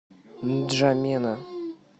нджамена